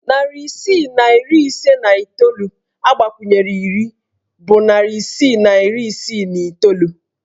Narị isii na iri ise na iteolu agbakwunyere iri bụ narị isii na iri isii na iteolu